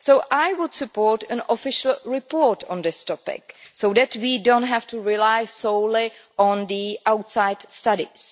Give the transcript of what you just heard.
I would support an official report on this topic so that we do not have to rely solely on outside studies.